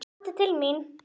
Komdu til mín.